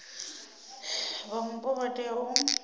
vha mupo vha tea u